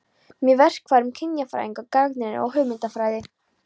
Með verkfærum kynjafræðinnar gagnrýni ég hugmyndafræði